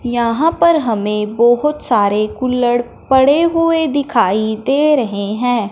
यहां पर हमें बहोत सारे कुल्हड़ पड़े हुए दिखाई दे रहे हैं।